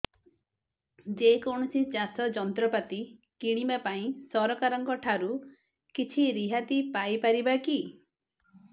ଯେ କୌଣସି ଚାଷ ଯନ୍ତ୍ରପାତି କିଣିବା ପାଇଁ ସରକାରଙ୍କ ଠାରୁ କିଛି ରିହାତି ପାଇ ପାରିବା କି